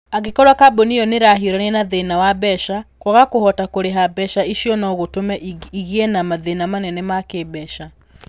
Angĩkorũo kambuni ĩyo nĩ ĩrahiũrania na thĩna wa mbeca, kwaga kũhota kũrĩha mbeca icio no gũtũme ĩgĩe na mathĩna manene ma kĩĩmbeca.